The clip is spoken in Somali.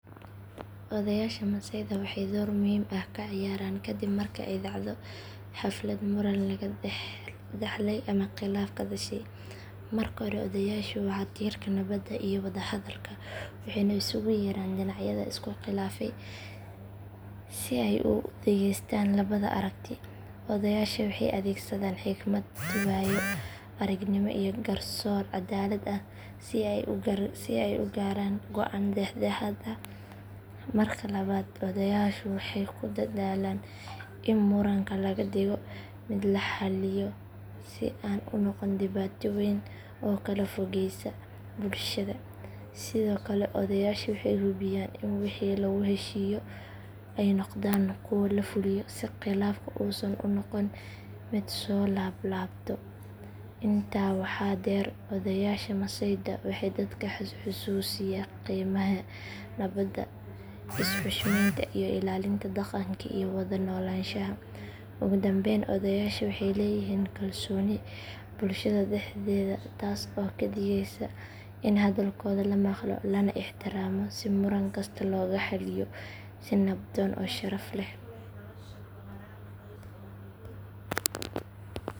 Odayaasha masayda waxay door muhiim ah ka ciyaaraan kadib marka ay dhacdo xaflad muran laga dhaxlay ama khilaaf ka dhashay. Marka hore odayaashu waa tiirka nabadda iyo wada hadalka, waxayna iskugu yeeraan dhinacyada isku khilaafay si ay u dhageystaan labada aragti. Odayaasha waxay adeegsadaan xikmad, waayo aragnimo iyo garsoor caddaalad ah si ay u gaaraan go'aan dhex dhexaad ah. Marka labaad odayaashu waxay ku dadaalaan in muranka laga dhigo mid la xalliyo si aan u noqon dhibaato weyn oo kala fogeysa bulshada. Sidoo kale odayaasha waxay hubiyaan in wixii lagu heshiiyo ay noqdaan kuwo la fuliyo si khilaafku uusan u noqon mid soo laab laabto. Intaa waxaa dheer odayaasha masayda waxay dadka xusuusiya qiimaha nabadda, is xushmeynta iyo ilaalinta dhaqanka iyo wada noolaanshaha. Ugu dambeyn odayaasha waxay leeyihiin kalsooni bulshada dhexdeeda taas oo ka dhigeysa in hadalkooda la maqlo lana ixtiraamo si muran kasta loogu xalliyo si nabdoon oo sharaf leh.